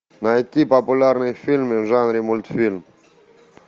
найти популярные фильмы в жанре мультфильм